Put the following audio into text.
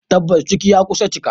Tabbas ciki ya kusa cika.